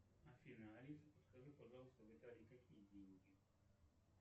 афина алиса подскажи пожалуйста в италии какие деньги